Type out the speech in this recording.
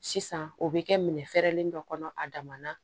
Sisan o bɛ kɛ minɛ fɛrɛlen dɔ kɔnɔ a dama na